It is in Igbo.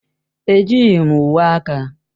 Ejighị m uwe aka.